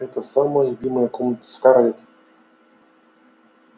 это самая любимая комната скарлетт